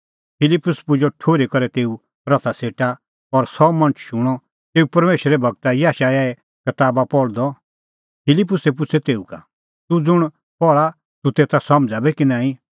फिलिप्पुसै पुजअ ठुर्ही करै तेऊए रथा सेटा और सह मणछ शूणअ तेऊ परमेशरे गूर याशायाहे कताबा पहल़दअ फिलिप्पुसै पुछ़अ तेऊ का तूह ज़ुंण पहल़ा तेता तूह समझ़ा बी कि नांईं